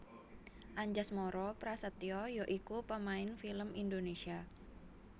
Anjasmara Prasetya ya iku pamain film Indonésia